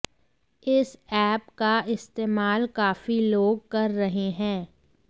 इस ऐप का इस्तेमाल काफी लोग कर रहे हैं